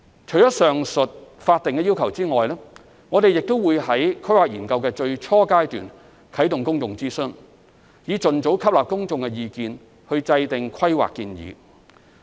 除上述法定要求外，我們亦會在規劃研究的最初階段啟動公眾諮詢，以盡早吸納公眾意見以制訂規劃建議。